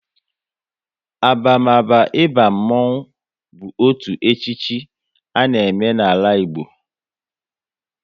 Abamaba ịba mmonwu bụ otu echichi a na eme n'ala Igbo